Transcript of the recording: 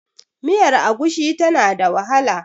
miyar agushi tana da wahala